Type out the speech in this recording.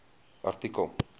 artikel